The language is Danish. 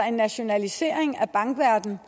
en nationalisering af bankverdenen